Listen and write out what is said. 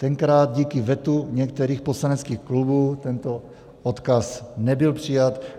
Tenkrát díky vetu některých poslaneckých klubů tento odkaz nebyl přijat.